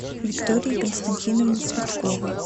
виктории константиновне цветковой